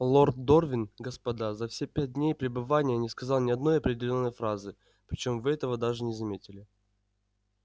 лорд дорвин господа за все пять дней пребывания не сказал ни одной определённой фразы причём вы этого даже не заметили